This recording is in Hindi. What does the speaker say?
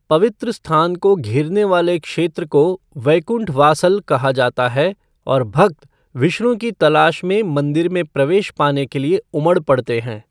पवित्र स्थान को घेरने वाले क्षेत्र को वैकुंठ वासल कहा जाता है और भक्त विष्णु की तलाश में मंदिर में प्रवेश पाने के लिए उमड़ पड़ते हैं।